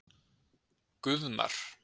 Guðmar